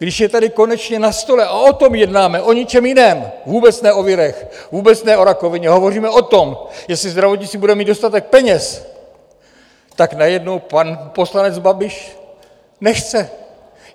Když je tady konečně na stole, a o tom jednáme, o ničem jiném, vůbec ne o virech, vůbec ne o rakovině, hovoříme o tom, jestli zdravotnictví bude mít dostatek peněz, tak najednou pan poslanec Babiš nechce.